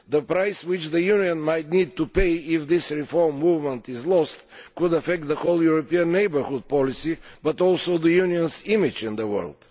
The price which the Union might need to pay if this reform movement is lost could affect the whole European Neighbourhood Policy, as well as the Union's image in the world.